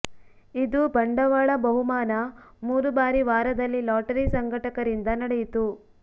ಇದು ಬಂಡವಾಳ ಬಹುಮಾನ ಮೂರು ಬಾರಿ ವಾರದಲ್ಲಿ ಲಾಟರಿ ಸಂಘಟಕರಿಂದ ನಡೆಯಿತು